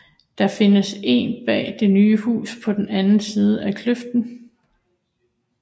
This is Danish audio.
Der findes én bag det nye hus på den anden side af kløften